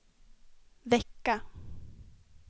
vecka